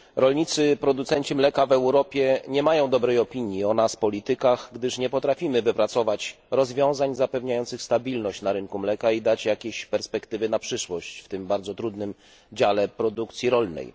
Rolnicy, producenci mleka w Europie nie mają dobrej opinii o nas, politykach, gdyż nie potrafimy wypracować rozwiązań zapewniających stabilność na rynku mleka i dać perspektyw na przyszłość w tym bardzo trudnym dziale produkcji rolnej.